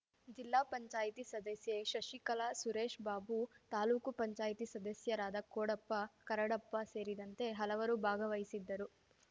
ಜಿಲ್ಲಾ ಪಂಚಾಯ್ತಿ ಸದಸ್ಯೆ ಶಶಿಕಲಾ ಸುರೇಶ್ ಬಾಬು ತಾಲೂಕು ಪಂಚಾಯ್ತಿ ಸದಸ್ಯರಾದ ಕೋಡಪ್ಪ ಕರಡಪ್ಪ ಸೇರಿದಂತೆ ಹಲವರು ಭಾಗವಹಿಸಿದ್ದರು